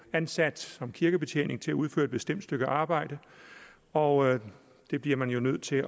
ansat som kirkebetjening til at udføre et bestemt stykke arbejde og det bliver man jo nødt til